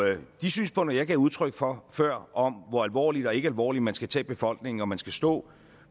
de synspunkter jeg gav udtryk for før om hvor alvorligt og ikke alvorligt man skal tage befolkningen og at man skal stå